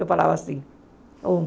Eu falava assim, um.